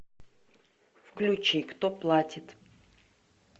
включи кто платит